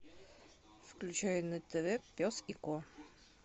включай на тв пес и ко